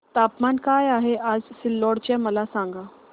तापमान काय आहे आज सिल्लोड चे मला सांगा